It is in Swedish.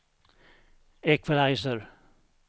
equalizer